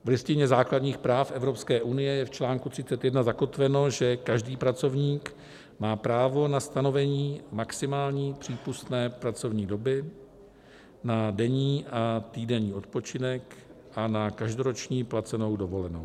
V Listině základních práv Evropské unie je v článku 31 zakotveno, že každý pracovník má právo na stanovení maximální přípustné pracovní doby, na denní a týdenní odpočinek a na každoroční placenou dovolenou.